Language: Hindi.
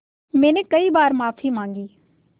मैंने कई बार माफ़ी माँगी